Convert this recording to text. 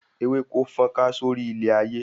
Ewéko fọ́nká sórí ilẹ̀ ayé